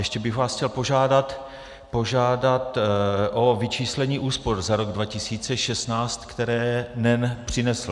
Ještě bych vás chtěl požádat o vyčíslení úspor za rok 2016, které NEN přinesl.